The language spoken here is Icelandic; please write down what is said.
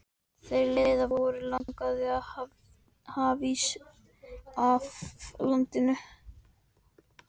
Þegar leið að vori lagðist hafís að landinu.